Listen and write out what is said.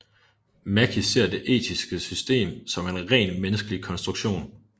Mackie ser det etiske system som en ren menneskelig konstruktion